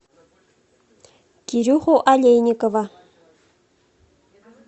кирюху олейникова